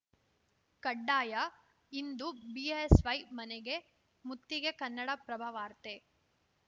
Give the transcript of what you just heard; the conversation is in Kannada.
ಕಡ್ಡಾಯ ಇಂದು ಬಿಎಸ್‌ವೈ ಮನೆಗೆ ಮುತ್ತಿಗೆ ಕನ್ನಡಪ್ರಭ ವಾರ್ತೆ